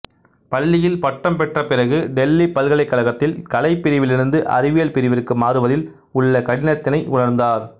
பள்ளியில் பட்டம் பெற்ற பிறகு டெல்லி பல்கலைக்கழகத்தில் கலைப்பிரிவிலிருந்து அறிவியல் பிரிவிற்கு மாறுவதில் உள்ள கடினத்தினை உணர்ந்தார்